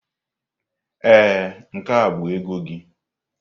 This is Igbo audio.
Ee, nke a bụ ego gị.